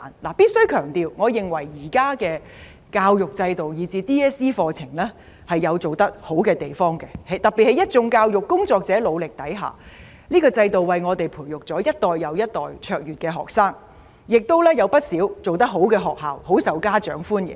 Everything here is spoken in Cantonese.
我必須強調，我認為現在的教育制度，以至 DSE 課程，有做得好的地方，特別在一眾教育工作者努力下，這個制度為我們培育一代又一代卓越學生，亦有不少做得好的學校，很受家長歡迎。